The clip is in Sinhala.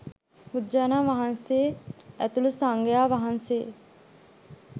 බුදුරජාණන් වහන්සේ ඇතුළු සංඝයා වහන්සේ